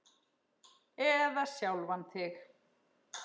Eða sjálfan þig.